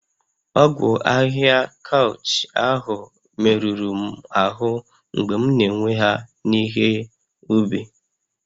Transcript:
Ogwu ahihia kaụch ahụ merụrụ m ahụ́ mgbe m na-ewe ha n'ihe ubi